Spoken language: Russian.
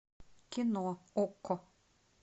кино окко